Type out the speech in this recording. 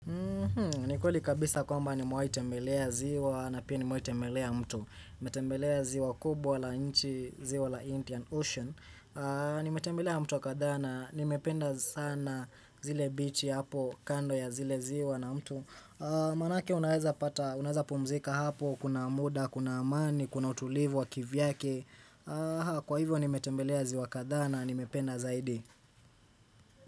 Ni kweli kabisa kwamba nimewahi temembelea ziwa na pia ni mewahitembelea mto Nimetemelea ziwa kubwa la inchi, ziwa la Indian Ocean Nimetemelea mto wa kadha na, nimependa sana zile bichi hapo kando ya zile ziwa na mtu Manake unaweza pumzika hapo, kuna muda, kuna amani, kuna utulivu wa kivyake Kwa hivyo nimetembelea ziwa kadhaa na, nimependa zaidi.